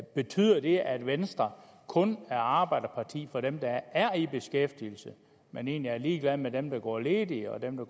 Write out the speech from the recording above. betyder det at venstre kun er arbejderparti for dem der er i beskæftigelse men egentlig er ligeglad med dem der går ledige og dem der